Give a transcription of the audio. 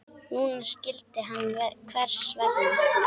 Núna skildi hann hvers vegna.